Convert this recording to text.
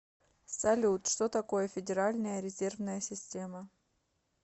салют что такое федеральная резервная система